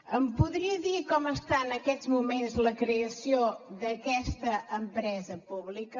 em podria dir com està en aquests moments la creació d’aquesta empresa pública